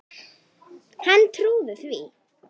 Hann trúði því.